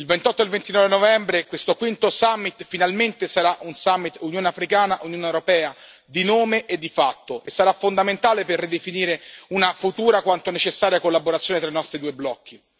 Il 28 e il 29 novembre questo quinto summit finalmente sarà un summit Unione africana Unione europea, di nome e di fatto, e sarà fondamentale per ridefinire una futura quanto necessaria collaborazione tra i nostri due blocchi.